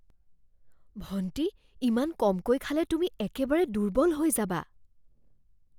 ভণ্টি, ইমান কমকৈ খালে তুমি একেবাৰে দুৰ্বল হৈ যাবা।